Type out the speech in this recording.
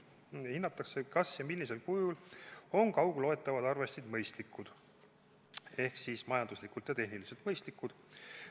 Hinnatakse, kas ja millisel kujul on kaugloetavad arvestid mõistlikud ehk majanduslikult ja tehniliselt mõistlikud.